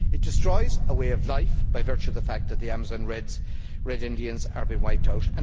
it destroys a way of life, by virtue of the fact that the Amazon Red Indians are being wiped out